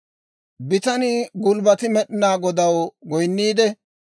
Bitanii gulbbati Med'inaa Godaw goynniidde,